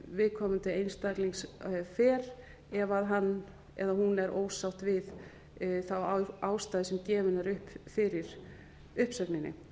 viðkomandi einstaklings fer ef hann eða hún er ósátt við þá ástæðu sem gefin er upp fyrir uppsögninni